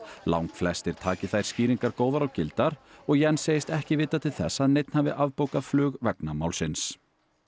langflestir taki þær skýringar góðar og gildar og Jens segist ekki vita til þess að neinn hafi flug vegna málsins